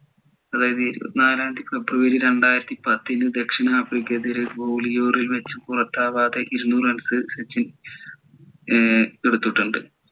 അതായതു ഇരുപത്തിനാലാം തിയതി ഫെബ്രുവരി രണ്ടായിരത്തിപത്തിന് ദക്ഷിണാഫ്രിക്കെതിരെ match ൽ പുറത്താവാതെ ഇരുന്നൂറ് runs സച്ചിൻ ഏർ എടുത്തിട്ടുണ്ട്